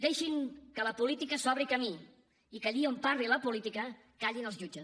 deixin que la política s’obri camí i que allí on parli la política callin els jutges